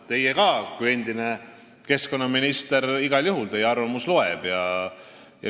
Te olete endine keskkonnaminister ja teie arvamus igal juhul loeb.